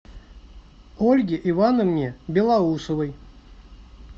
ольге ивановне белоусовой